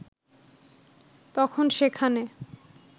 তখন সেখানে